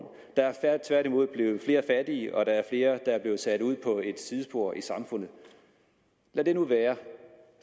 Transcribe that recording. der er tværtimod blevet flere fattige og der er flere der er blevet sat ud på et sidespor i samfundet lad det nu være